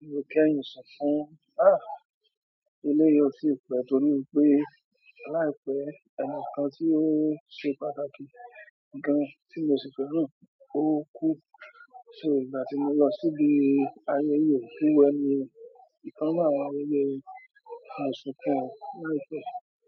Mo kẹ́yìn sunkún, ah, eléyìí ò tíì pẹ́ torí pé láìpẹ́ ẹnìkan tí ó ṣe pàtàkì gan tí mo ṣì fẹ́ràn gan ó kú. So ìgbà tí mo lọ síbi ayẹyẹ òkú ẹni yẹn ìkan nínú àwọn ẹbí mo sunkún o láìpẹ́.